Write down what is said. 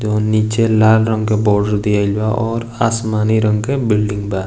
जोवन नीचे लाल रंग के बोर्ड दियाइल बा और आसमानी रंग के बिल्डिंग बा।